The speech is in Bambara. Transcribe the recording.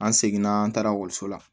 An seginna an taara ekɔliso la